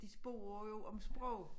De spørger jo om sprog